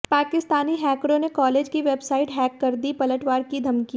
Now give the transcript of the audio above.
पाकिस्तानी हैकरों ने कॉलेज की वेबसाइट हैक कर दी पलटवार की धमकी